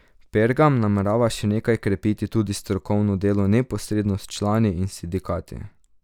Pergam namerava še naprej krepiti tudi strokovno delo neposredno s člani in sindikati.